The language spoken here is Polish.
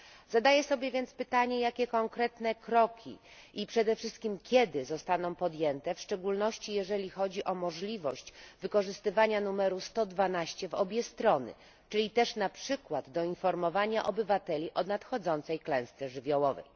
Zadaję więc sobie pytanie, jakie konkretnie kroki i, przede wszystkim, kiedy zostaną podjęte, w szczególności, jeżeli chodzi o możliwość wykorzystywania numeru 112 w obie strony, czyli też na przykład do informowania obywateli o nadchodzącej klęsce żywiołowej.